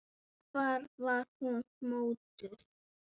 Hvar var hún mótuð?